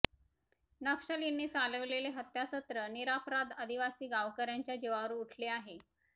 नक्षलींनी चालवलेले हत्यासत्र निरपराध आदिवासी गावकऱ्यांच्या जिवावर उठले आहे